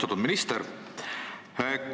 Austatud minister!